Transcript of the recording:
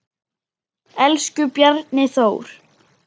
Elsku Bjarni Þór.